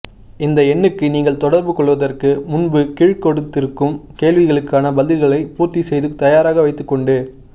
இந்த எண்ணுக்கு நீங்கள் தொடர்பு கொள்வதற்கு முன்பு கீழ்கொடுத்திருக்கும் கேள்விகளுக்கான பதில்களை பூர்த்தி செய்து தயாராக வைத்துக் கொண்டு